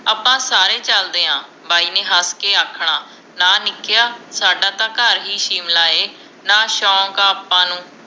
ਆਪਾਂ ਸਾਰੇ ਚਲਦੇ ਆ ਬਾਈ ਨੇ ਹੱਸਕੇ ਹੱਸਕੇ ਆਖਣਾ ਨਾ ਨਿਕਿਆ ਸਾਡਾ ਤਾਂ ਘਰ ਹੀ ਸ਼ਿਮਲਾ ਹੈ ਨਾ ਸ਼ੋਂਕ ਹੈ ਆਪਾਂ ਨੂੰ